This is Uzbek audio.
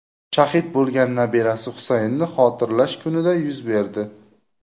shahid bo‘lgan nabirasi Husaynni xotirlash kunida yuz berdi.